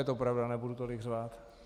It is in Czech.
Je to pravda, nebudu tolik řvát.